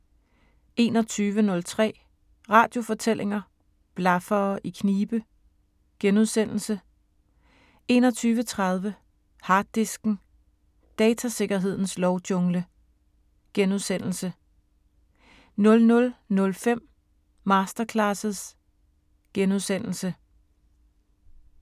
21:03: Radiofortællinger: Blaffere i knibe * 21:30: Harddisken: Datasikkerhedens lovjungle * 00:05: Masterclasses *